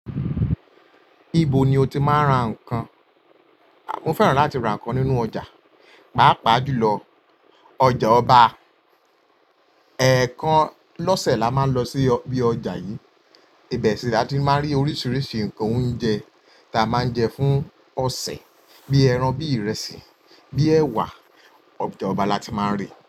Níbo ni o ti máa ń ra nǹkan? Mo fẹ́ràn láti ra nǹkan nínú ọjà, pàápàá jùlọ ọjà ọba. Ẹ̀ẹ̀kan lọ́sẹ̀ la máa ń lọ sí bí ọjà yìí, ibẹ̀ sì la ti máa ń rí oríṣiríṣi ǹkan oúnjẹ ta máa ń jẹ fún ọ̀sẹ̀ bíi ẹran, bíi ìrẹsì, bíi ẹwà. Ọjà ọba la ti máa ń rí.